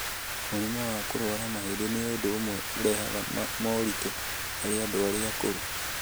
Mũrimũ wa kũrũara mahĩndĩ nĩ ũndũ ũmwe ũrehaga moritũ harĩ andũ arĩa akũrũ.